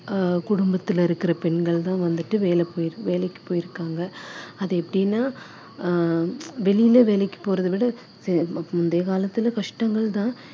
அஹ் குடும்பத்துல இருக்கிற பெண்கள் தான் வந்துட்டு வேலை போ~ வேலைக்கு போயிருக்காங்க அது எப்படின்னா ஆஹ் வெளியில வேலைக்கு போறது விட முந்தைய காலத்துல கஷ்டங்கள் தான்